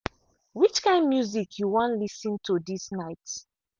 which kind music you wan lis ten to this night